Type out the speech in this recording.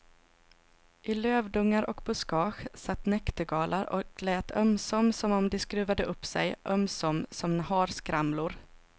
I lövdungar och buskage satt näktergalar och lät ömsom som om de skruvade upp sig, ömsom som harskramlor.